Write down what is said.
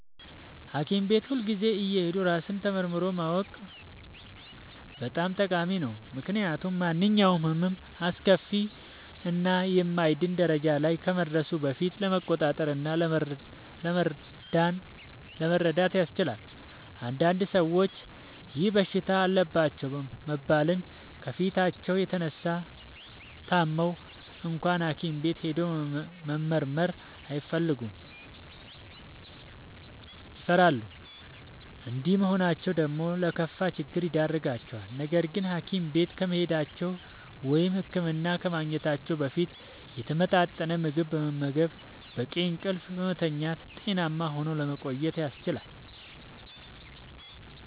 ሀኪም ቤት ሁልጊዜ እየሄዱ ራስን ተመርምሮ ማወቅ በጣም ጠቃሚ ነው። ምክንያቱም ማንኛውም ህመም አስከፊ እና የማይድን ደረጃ ላይ ከመድረሱ በፊት ለመቆጣጠር እና ለመዳን ያስችላል። አንዳንድ ሰዎች ይህ በሽታ አለባችሁ መባልን ከመፍራታቸው የተነሳ ታመው እንኳን ሀኪም ቤት ሄዶ መመርመር አይፈልጉም ይፈራሉ። እንዲህ መሆናቸው ደግሞ ለከፋ ችግር ይዳርጋቸዋል። ነገርግን ሀኪም ቤት ከመሄዳቸው(ህክምና ከማግኘታቸው) በፊት የተመጣጠነ ምግብ በመመገብ፣ በቂ እንቅልፍ በመተኛት ጤናማ ሆኖ ለመቆየት ያስችላል።